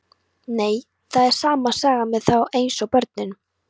Nei, það er sama sagan með þá eins og börnin.